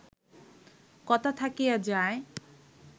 কথা থাকিয়া যায়